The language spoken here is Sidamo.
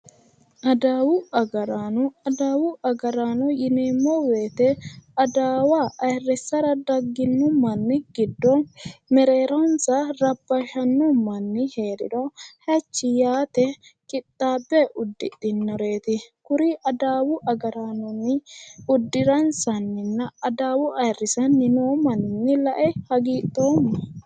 Adawu agaraano adawu agaraano yineemmo woyite adawa ayirrissara dagginori giddo mereeronsa rabbashanno manni heeriro hachi yaatenni qixaabbe uddidhinoreeti kuri adawu agaraano uddiransanni la'e hagiidhoomma